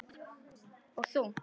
Og þungt.